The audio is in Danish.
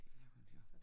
Det er hun jo